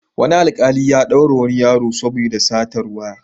Wani alƙali ya ɗaure wani yaro saoda satar waya.